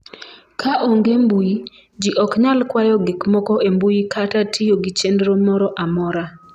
ka onge mbui, jii ok nyal kwayo gik moko e mbui kata tiyo gi chenro moro amora